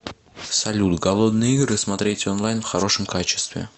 салют голодные игры смотреть онлайн в хорошем качестве